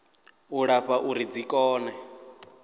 u lapfa uri dzi kone